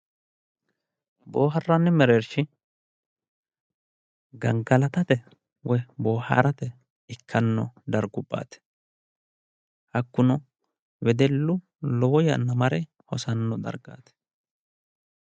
Booharranni mereershi gangalatate boohaarate ikkanno darguwaati hakkuno wedellu lowo yanna mare hosanno dargaati.